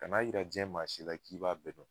Kan'a yira jɛn maa si la k'i b'a bɛ dɔn